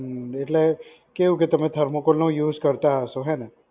હ્મ એટલે કેવુ કે તમે thermocol નો use કરતાં હશો હેને?